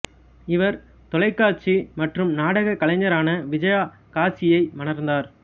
இவர் தொலைக்காட்சி மற்றும் நாடகக் கலைஞரான விஜயா காசியை மணந்தார்